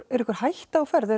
er einhver hætta á ferð er